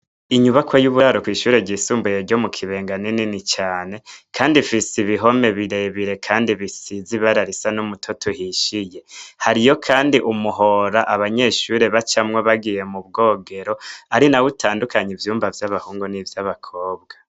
Inyubako y'uburaro kwishure jisumbuye ryo mu kibenga ninini cane, kandi fise ibihome birebire, kandi bisiza ibararisa n'umutoto uhishiye hariyo, kandi umuhora abanyeshuri bacamwo bagiye mu bwogero ari na we utandukanye ivyumba vy'abahungu n'ivyo abakobwa.